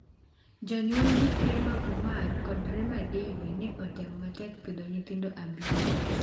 Jonyuol gi Prema Kumar kod Rema Devi ne otemo matek pidho nyithindgo abich.